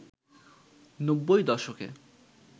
নব্বই দশকে